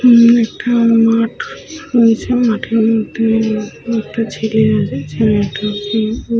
উম একটা মাঠ রয়েছে। মাঠের মধ্যে কয়েকটা ছেলে রয়েছে। ছেলে --